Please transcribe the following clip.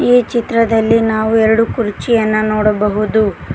ಈ ಚಿತ್ರದಲ್ಲಿ ನಾವು ಎರಡು ಕುರ್ಚಿಯನ್ನ ನೋಡಬಹುದು.